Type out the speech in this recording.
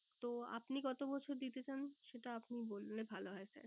তো আপনি কত বছর দিতে চান? সেটা আপনি বললে ভালো হয় sir